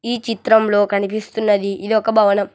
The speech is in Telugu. ఈ చిత్రంలో కనిపిస్తున్నది ఇదొక భవనం.